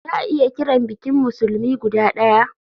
Za a iya kiran bikin musulmi guda daya.